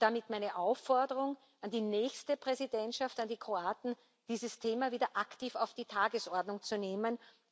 Und damit meine Aufforderung an die nächste Präsidentschaft, an die Kroaten, dieses Thema wieder aktiv auf die Tagesordnung zu nehmen.